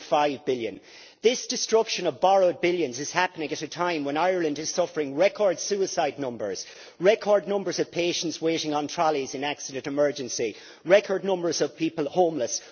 1.5 billion. This destruction of borrowed billions is happening at a time when Ireland is suffering record suicide numbers, record numbers of patients waiting on trolleys in accident and emergency, record numbers of people homeless.